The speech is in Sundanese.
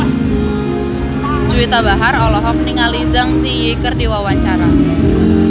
Juwita Bahar olohok ningali Zang Zi Yi keur diwawancara